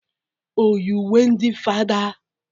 Oyi uwe ndị fada?